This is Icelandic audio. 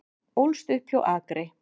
Ólst upp hjá Akri